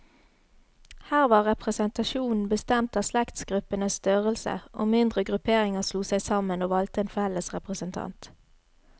Her var representasjonen bestemt av slektsgruppenes størrelse, og mindre grupperinger slo seg sammen, og valgte en felles representant.